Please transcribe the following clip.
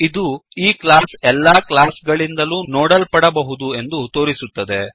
ಇದು ಈ ಕ್ಲಾಸ್ ಎಲ್ಲ ಕ್ಲಾಸ್ ಗಳಿಂದಲೂ ನೋಡಲ್ಪಡಬಹುದು ಎಂದು ತೋರಿಸುತ್ತದೆ